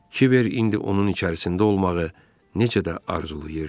Kibər indi onun içərisində olmağı necə də arzulayırdı.